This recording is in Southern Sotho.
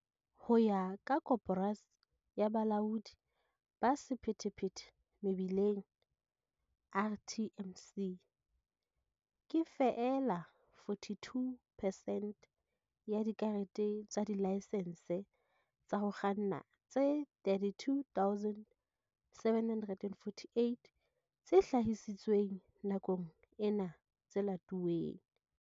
Ho ya ka Koporasi ya Bolaodi ba Sephethephethe Mebileng, RTMC, ke feela 42 percent ya dikarete tsa dilaesense tsa ho kganna tse 32 748 tse hlahisitsweng nakong ena tse latuweng.